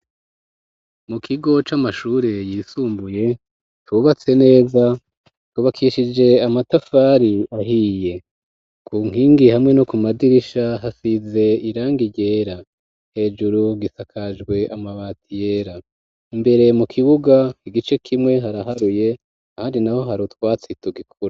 Mu kigo c'amashure yisumbuye cubatse neza cubakishije amatafari ahiye ku nkingi hamwe no ku madirisha hasize irangi ryera hejuru gisakajwe amabati yera imbere mu kibuga igice kimwe haraharuye ahandi naho hari utwatsi tugikura.